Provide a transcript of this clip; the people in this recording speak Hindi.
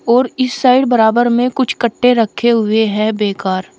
और इस साइड बराबर में कुछ कट्टे रखे हुए हैं बेकार।